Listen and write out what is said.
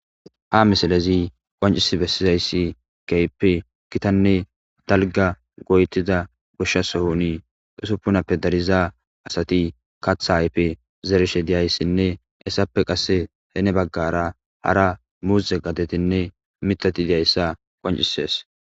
Ha misalezi qoncisi bessizayssi keppi kitanne dalga goytida gushsha sohuni usuppunappe dariza asati katha aype zerishe diyayssinne essappe qasse heene baggara hara muuze gatetinne mitati diyayssa qoncises.